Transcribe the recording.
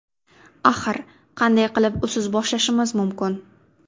Axir, qanday qilib usiz boshlashimiz mumkin?